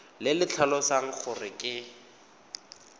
le le tlhalosang gore ke